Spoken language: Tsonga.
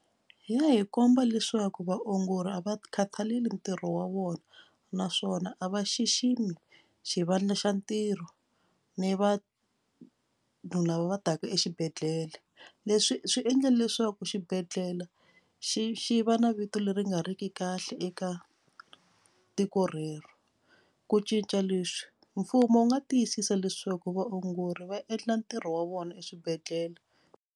Hi ya hi komba leswaku vaongori a va khataleli ntirho wa vona naswona a va xiximi xivandla xa ntirho ni vanhu lava va taka exibedhlele. Leswi swi endle leswaku xibedhlele xi xi va na vito leri nga ri ki kahle eka tiko rero. Ku cinca leswi mfumo wu nga tiyisisa leswaku vaongori va endla ntirho wa vona exibedhlele.